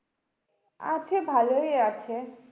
আছে ভালোই আছে।